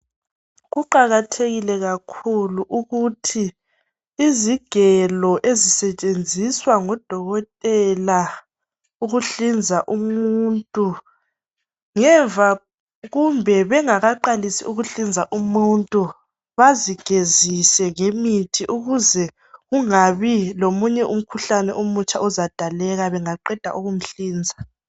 Kuqakathekile kakhulu ukuthi izigelo ezisetshenziswa ngodokotela ukuhlinza umuntu, ngemva kumbe bengakaqalisi ukuhlinza umuntu, bazigezise ngemithi ukuze kungabi lomunye umkhuhlane omutsha ozadaleka bengaqeda ukumhlinza.